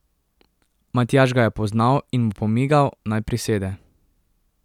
Matjaž ga je poznal in mu pomigal, naj prisede.